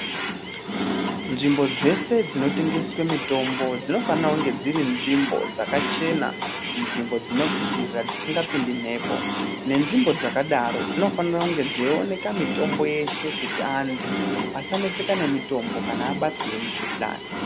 Nzvimbo dzese dzinotengeswe mitombo dzinofana kunge dziri nzvimbo dzakachena, nzvimbo dzinopipirira, dzisingapindi mphepo, nenzvimbo dzakadaro ,dzinofanira kunge dzeioneka mitombo yeshe ,kuti antu asaneseka nemitombo kana abatwa ngemikhuhlani.